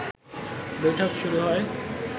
বৈঠক শুরু হয়